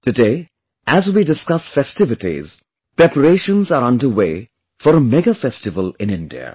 Today, as we discuss festivities, preparations are under way for a mega festival in India